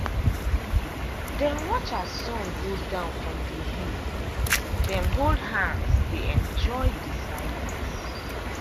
dem watch as sun go down from the hill dem hold hands dey enjoy the silence.